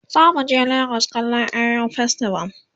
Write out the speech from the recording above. zamu je legas kallan eyo festival